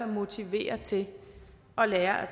motiveret til at lære at